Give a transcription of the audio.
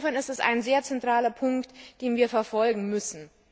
Insofern ist es ein sehr zentraler Punkt, den wir verfolgen müssen.